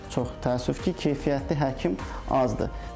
Çox təəssüf ki, keyfiyyətli həkim azdır.